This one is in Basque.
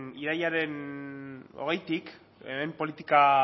irailaren hogeitik hemen politika